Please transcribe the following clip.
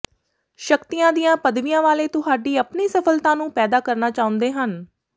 ਸ਼ਕਤੀਆਂ ਦੀਆਂ ਪਦਵੀਆਂ ਵਾਲੇ ਤੁਹਾਡੀ ਆਪਣੀ ਸਫਲਤਾ ਨੂੰ ਪੈਦਾ ਕਰਨਾ ਚਾਹੁੰਦੇ ਹਨ